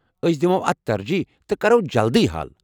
أسۍ دِمو اتھ ترجیٖح تہٕ کرو جلدی حل ۔